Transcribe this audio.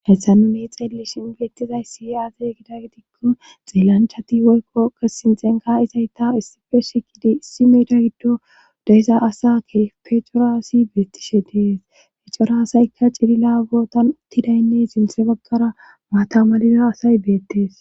hessa nu ne xeeli shin beettizaysi aazey gida gidikko xiellanchati woykqoke sinxenka izayta issife shikidi issi meeda giddo deyiza asaakke pecoraasi beettishe deesecoraasayka cilila bootan uttidaynne sinthe baggara maatamaliza asay beettees